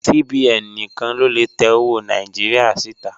CBN níkan ló lè tẹ́ ọwọ́ Nàìjíríà sí tà.